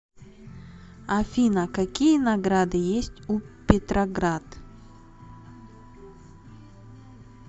афина какие награды есть у петроград